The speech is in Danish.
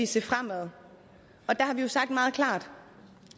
se fremad og der har vi jo sagt meget klart